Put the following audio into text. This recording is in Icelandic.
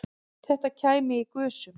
Þetta kæmi í gusum